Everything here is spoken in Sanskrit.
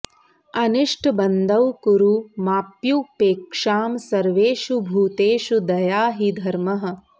अनिष्टबन्धौ कुरु माप्युपेक्षां सर्वेषु भूतेषु दया हि धर्मः